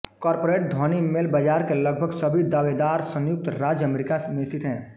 corporate ध्वनि mail बाजार के लगभग सभी दावेदार संयुक्त राज्य अमेरिका में स्थित थे